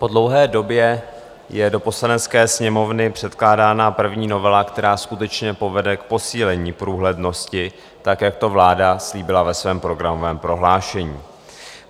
Po dlouhé době je do Poslanecké sněmovny předkládána první novela, která skutečně povede k posílení průhlednosti tak, jak to vláda slíbila ve svém programovém prohlášení.